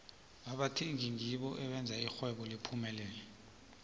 abathengi ngibo abenza ixhwebo liphumelele